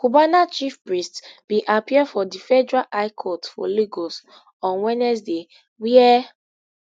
cubana chief priest bin appear for di federal high court for lagos on wednesday wia